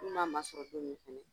N'u m'a masɔrɔ don min fana